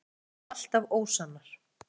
mótsagnir eru alltaf ósannar